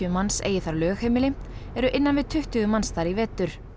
manns eigi þar lögheimili eru innan við tuttugu manns þar í vetur